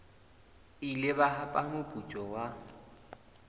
ile ba hapa moputso wa